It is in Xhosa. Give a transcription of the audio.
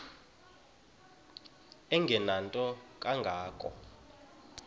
engenanto kanga ko